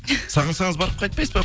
сағынсаңыз барып қайтпайсыз ба